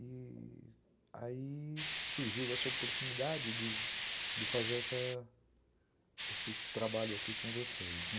E... aí surgiu essa oportunidade de de fazer essa esse trabalho aqui com vocês, né.